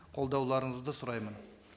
қолдауларыңызды сұраймын